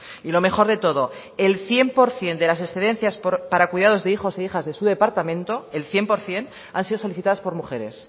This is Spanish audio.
y lo mejor de todo el cien por ciento de las excedencias para el cuidado de hijos e hijas en su departamento el cien por ciento han sido solicitadas por mujeres